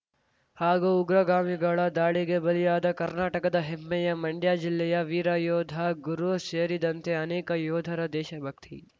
ಹಾಗೂ ಉಗ್ರಗಾಮಿಗಳ ದಾಳಿಗೆ ಬಲಿಯಾದ ಕರ್ನಾಟಕದ ಹೆಮ್ಮೆಯ ಮಂಡ್ಯ ಜಿಲ್ಲೆಯ ವೀರ ಯೋಧ ಗುರು ಸೇರಿದಂತೆ ಅನೇಕ ಯೋಧರ ದೇಶಭಕ್ತಿ